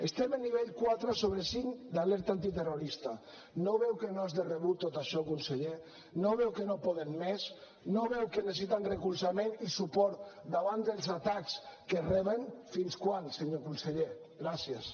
estem a nivell quatre sobre cinc d’alerta antiterrorista no veu que no és de rebut tot això conseller no veu que no poden més no veu que necessiten recolzament i suport davant dels atacs que reben fins quan senyor conseller gràcies